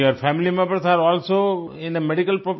and your family members are also in a medical